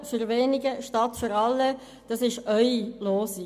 Eure Losung lautet: Für wenige statt für alle.